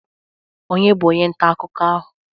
Onye bụ onye nta akụkọ ahụ?